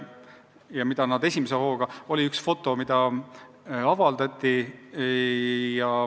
Oli näiteks üks foto, mis avaldati.